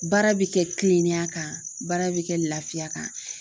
Baara bɛ kɛ kilenniya kan baara bɛ kɛ laafiya kan.